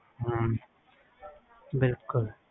ਹਮ ਬਿਲਕੁਲ